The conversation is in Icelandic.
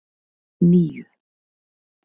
níu